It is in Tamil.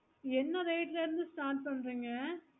என்ன date ல இருந்து start பண்றீங்க